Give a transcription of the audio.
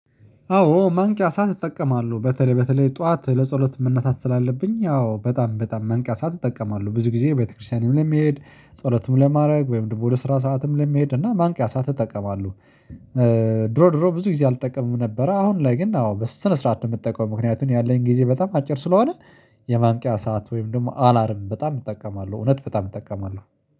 አዎ ማንቂያ ሰዓት እጠቀማሉ በተለይ በተለይ ጠዋት ለፃሎት መነሳት ስላለብኝ አዎ በጣም በጣም ማንቂያ ሰዓት እጠቀማሉ ብዙ ጊዜ ቤተክርስቲያንም ለመሄድ ፃሎትም ለማድረግ ወይም ደግሞ ወደ ስራ ሰዓት ለመሄድ እና ማንቂያ ሰዓት እጠቀማሉ። ድሮ ድሮ ብዙ ጊዜ አልጠቀምም ነበረ አሁን ላይ ግን አዎ በስነ ስርዓት የምጠቀመው ምክንያቱም ያለኝ ጊዜ በጣም አጭር ስለሆነ። የማንቂያ ሰዓት ወይም ደግሞ አላርም በጣም እጠቀማለሁ እውነት በጣም እጠቀማለሁ።